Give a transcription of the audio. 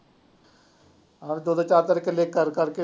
ਦੋ ਦੋ ਚਾਰ ਚਾਰ ਕਿੱਲੇ ਕਰ ਕਰਕੇ